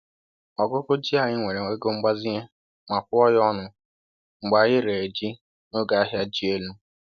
Ọgụgụ ji anyị were ego mgbazinye ma kwụọ ya ọnụ mgbe anyị rere ji n’oge ahịa ji elu